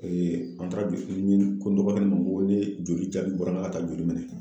an taara bi ko n dɔgɔkɛ ma ko ni joli jali bɔra n ka taa joli minɛ.